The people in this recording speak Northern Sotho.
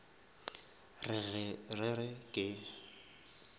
re ge re re ke